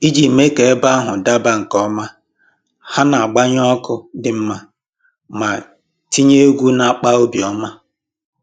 Iji mee ka ebe ahụ daba nke ọma, ha na-agbanye ọkụ dị mma ma tinye egwu na-akpa obi ọma